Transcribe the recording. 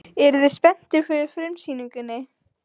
Eruð þið spenntir fyrir frumsýningunni?